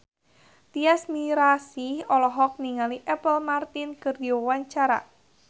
Tyas Mirasih olohok ningali Apple Martin keur diwawancara